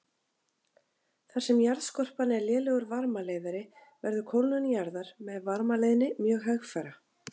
Þar sem jarðskorpan er lélegur varmaleiðari verður kólnun jarðar með varmaleiðni mjög hægfara.